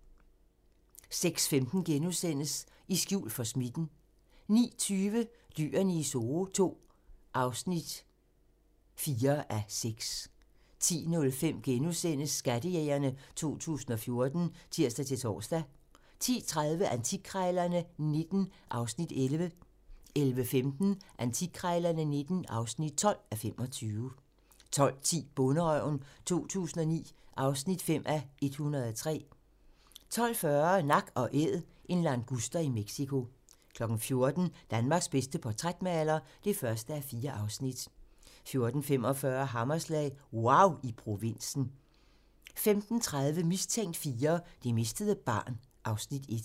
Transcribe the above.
06:15: I skjul for smitten * 09:20: Dyrene i Zoo II (4:6) 10:05: Skattejægerne 2014 *(tir-tor) 10:30: Antikkrejlerne XIX (11:25) 11:15: Antikkrejlerne XIX (12:25) 12:10: Bonderøven 2009 (5:103) 12:40: Nak & Æd - en languster i Mexico 14:00: Danmarks bedste portrætmaler (1:4) 14:45: Hammerslag - wauw i provinsen 15:30: Mistænkt IV: Det mistede barn (Afs. 1)